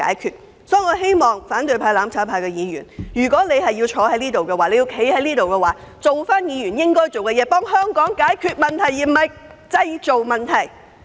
因此，我希望反對派、"攬炒派"議員若要留在議會，便應善盡議員的職責，協助香港解決問題而非製造問題。